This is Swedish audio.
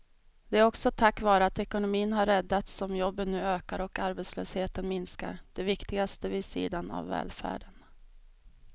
Det är också tack vare att ekonomin har räddats som jobben nu ökar och arbetslösheten minskar, det viktigaste vid sidan av välfärden.